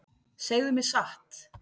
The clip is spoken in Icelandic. Segðu mér satt.